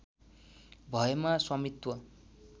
भएमा स्वामित्व